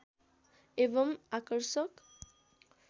एवम् आकर्षक